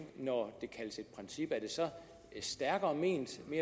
når det kaldes et princip er det så stærkere ment mere